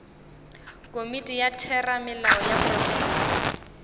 komiti ya theramelao ya profense